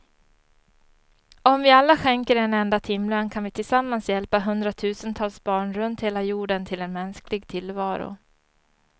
Om vi alla skänker en enda timlön kan vi tillsammans hjälpa hundratusentals barn runt hela jorden till en mänsklig tillvaro.